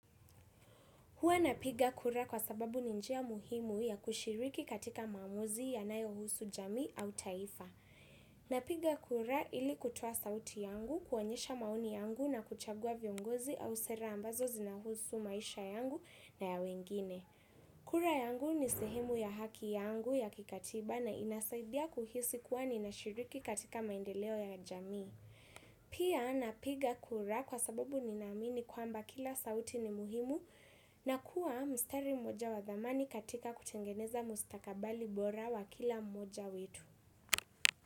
Huwa napiga kura kwa sababu ninjia muhimu ya kushiriki katika mamuzi ya nayo husu jamii au taifa. Napiga kura ili kutoa sauti yangu, kuonyesha maoni yangu na kuchagua viongozi au sera ambazo zinahusu maisha yangu na ya wengine. Kura yangu ni sehemu ya haki yangu ya kikatiba na inasaidia kuhisi kuwa ninashiriki katika maendeleo ya jamii. Pia napiga kura kwa sababu ninamini kwamba kila sauti ni muhimu na kuwa mstari moja wa thamani katika kutengeneza mustakabali bora wa kila moja wetu.